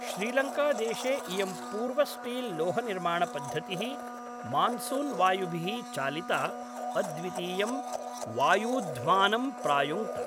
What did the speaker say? श्रीलङ्कादेशे इयं पूर्वस्टील्लोहनिर्माणपद्धतिः मान्सून् वायुभिः चालिता, अद्वितीयं वायूध्मानं प्रायुङ्क्त।